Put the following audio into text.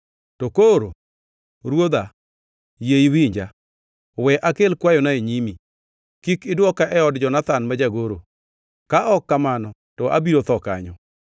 To koro, ruodha, yie iwinja. We akel kwayona e nyimi: Kik idwoka e od Jonathan ma jagoro, ka ok kamano to abiro tho kanyo.”